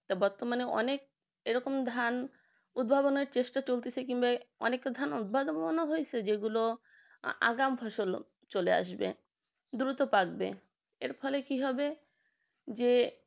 বর্তমানে অনেক এরকম ধান উদ্ভাবনের চেষ্টা চলতেছে কিংবা অনেকটা ধান উদ্ভাবন হয়েছে যেগুলো আগাম ফসল চলে আসবে দ্রুত পাকবে এর ফলে কি হবে যে